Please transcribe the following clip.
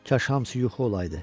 Kaş hamısı yuxu olaydı.